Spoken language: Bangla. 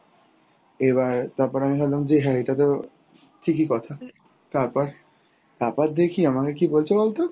এবার তারপর আমি ভাবলাম যে হ্যাঁ এটাতো ঠিকই কথা, তারপর তারপর দেখি আমাকে কী বলছে বলতো?